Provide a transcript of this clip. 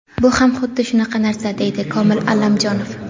Bu ham xuddi shunaqa narsa”, deydi Komil Allamjonov.